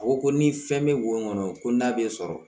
A ko ko ni fɛn bɛ wo kɔnɔ ko n'a bɛ sɔrɔ